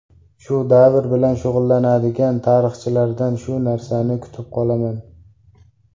Shu davr bilan shug‘ullanadigan tarixchilardan shu narsani kutib qolaman.